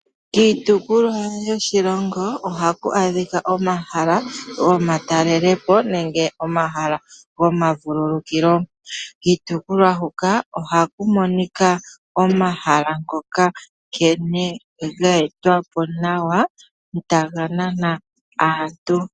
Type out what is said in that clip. Kiitukulwa yoshilongo oha ku adhika omahala gomatalelepo nenge omahala gomavululukilo. Kiitukulwa huka oha ku monika omahala ngoka nkene geetwa po nawa taga nana aantu.